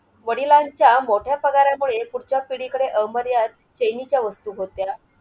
वडिलांच्या मोठया पगारामुळे पुढच्या पिढीकडे अमर्याद चैनीच्या वस्तू होत्या.